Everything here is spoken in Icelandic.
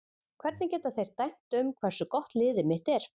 Hvernig geta þeir dæmt um hversu gott liðið mitt er?